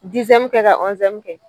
kɛ ka kɛ.